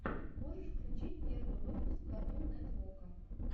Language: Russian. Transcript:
можешь включить первый выпуск катун нетвока